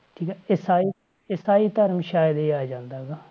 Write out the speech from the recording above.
ਠੀਕ ਆ ਈਸਾਈ ਈਸਾਈ ਧਰਮ ਸ਼ਾਇਦ ਇਹ ਆ ਜਾਂਦਾ ਹੈਗਾ।